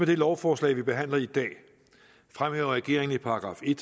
det lovforslag vi behandler i dag fremhæver regeringen i § en